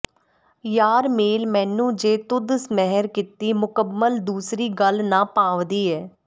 ਯਾਰ ਮੇਲ ਮੈਨੂੰ ਜੇ ਤੁਧ ਮਿਹਰ ਕੀਤੀ ਮੁਕਬਲ ਦੂਸਰੀ ਗੱਲ ਨਾ ਭਾਂਵਦੀ ਏ